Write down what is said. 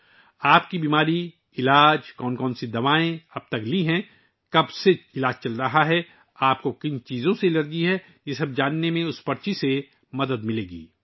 یہ پرچی کسی کی بیماری، علاج، کون سی دوائیں لے رہی ہے، کتنے عرصے سے علاج چل رہا ہے، کن چیزوں سے الرجی ہے، یہ جاننے میں مدد ملے گی